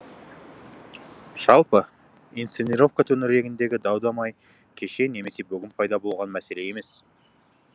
жалпы инсценировка төңірегіндегі дау дамай кеше немесе бүгін пайда болған мәселе емес